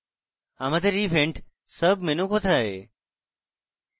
আমাদের event sub menu কোথায়